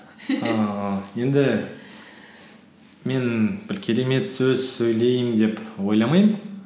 ііі енді мен бір керемет сөз сөйлеймін деп ойламаймын